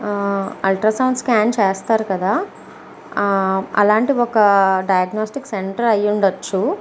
ఆ ultrasound scan చేస్తారు కదా ఆ అలాంటి ఒక డయాగ్నస్టిక్ సెంటర్ అయ్యుండొచ్చు.